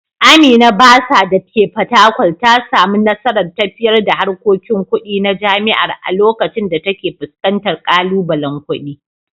Amina Bursar dake Fatakwal ta samu nasarar tafiyar da harkokin kudi na jami’ar a lokacin da take fuskantar kalubalen kudi.